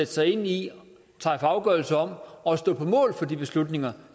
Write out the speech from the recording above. sig ind i træffe afgørelse om og stå på mål for de beslutninger